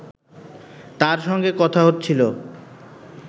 তার সঙ্গে কথা হচ্ছিল